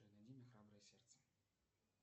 найди мне храброе сердце